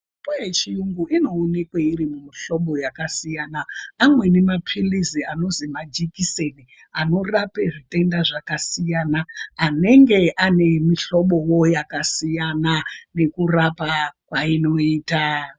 Mitombo yechiyungu inoonekwe iri mumihlobo yakasiyana. Amweni maphilizi anozi majikiseni anorape zvitenda zvakasiyana anenge ane mihlobovo yakasiyana nekurapa kwainoita.